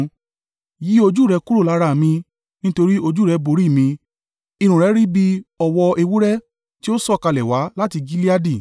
Yí ojú rẹ kúrò lára mi; nítorí ojú rẹ borí mi. Irun rẹ rí bí i ọ̀wọ́ ewúrẹ́ tí ó sọ̀kalẹ̀ wá láti Gileadi.